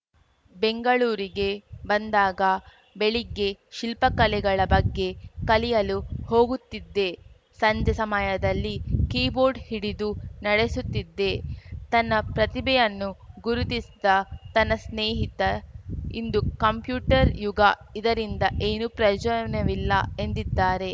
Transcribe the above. ಬೆಂಗಳೂರಿಗೆ ಬಂದಾಗ ಬೆಳಿಗ್ಗೆ ಶಿಲ್ಪಕಲೆಗಳ ಬಗ್ಗೆ ಕಲಿಯಲು ಹೋಗುತ್ತಿದ್ದೆ ಸಂಜೆ ಸಮಯದಲ್ಲಿ ಕೀಬೋರ್ಡ್‌ ಹಿಡಿದು ನಡೆಸುತ್ತಿದ್ದೆ ತನ್ನ ಪ್ರತಿಭೆಯನ್ನು ಗುರುತ್ಸಿದ್ದ ತನ್ನ ಸ್ನೇಹಿತ ಇದು ಕಂಪ್ಯೂಟರ್‌ ಯುಗ ಇದರಿಂದ ಏನೂ ಪ್ರಯೋಜನವಿಲ್ಲ ಎಂದಿದ್ದಾರೆ